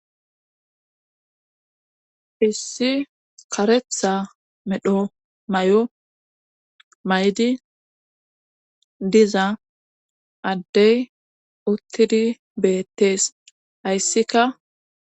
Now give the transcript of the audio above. hissi karetha medho mayo mayidi diza addey uttidi beettees. hayssika